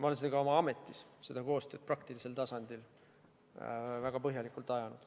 Ma olen ka oma ametis seda koostööasja praktilisel tasandil väga põhjalikult ajanud.